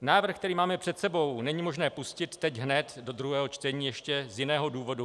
Návrh, který máme před sebou, není možné pustit teď hned do druhého čtení ještě z jiného důvodu.